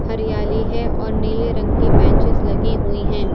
हरियाली है और नीले रंग की बेंचेस लगी हुई हैं।